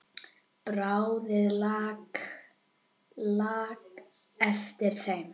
Bráðin lak af þeim.